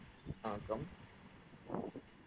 வணக்கம்